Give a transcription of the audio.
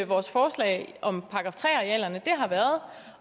vores forslag om § tre arealerne